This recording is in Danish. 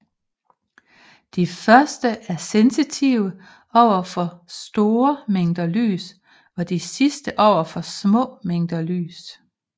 De første er sensitive over for store mængder lys og de sidste over for små mængder lys